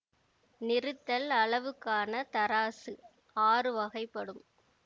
நிறுத்தல் அளவுக்கான தராசு ஆறு வகைப்படும்